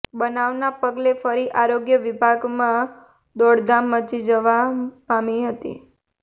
બનાવના પગલે ફરી આરોગ્ય વિભાગમાં દોડધામ મચી જવા પામી હતી